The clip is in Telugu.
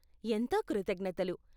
ఎంతో కృతజ్ఞతలు.